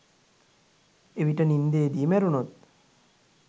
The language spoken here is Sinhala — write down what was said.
එවිට නින්දේදී මැරුණොත්